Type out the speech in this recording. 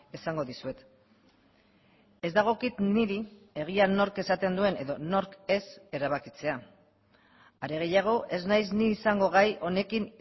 esango dizuet ez dagokit niri egia nork esaten duen edo nork ez erabakitzea are gehiago ez naiz ni izango gai honekin